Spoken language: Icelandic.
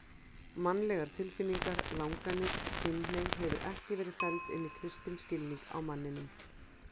Mannlegar tilfinningar, langanir, kynhneigð hefur ekki verið felld inn í kristinn skilning á manninum.